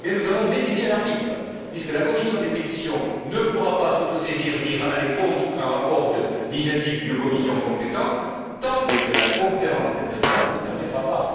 Eh bien, nous avons défini un arbitre puisque la commission des pétitions ne pourra pas s'autosaisir ni aller contre un rapport d'initiative d'une commission compétente, tant que la Conférence des présidents ne le permettra pas.